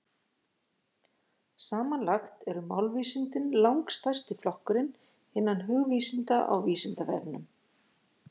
Samanlagt eru málvísindin langstærsti flokkurinn innan hugvísinda á Vísindavefnum.